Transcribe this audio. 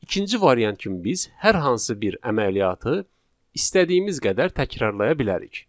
İkinci variant kimi biz hər hansı bir əməliyyatı istədiyimiz qədər təkrarlaya bilərik.